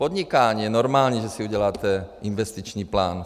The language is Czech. Podnikání - je normální, že si uděláte investiční plán.